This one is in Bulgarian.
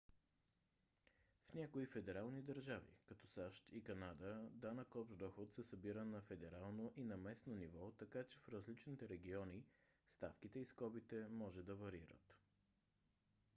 в някои федерални държави като сащ и канада дод се събира на федерално и на местно ниво така че в различните региони ставките и скобите може да варират